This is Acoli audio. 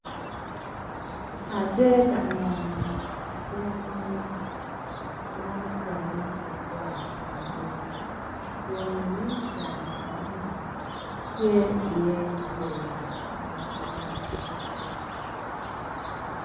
Atye ka neno gangi ma otene ki got madit ku inyim gang eno ni ce iye yeya madwong